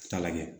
Taa lajɛ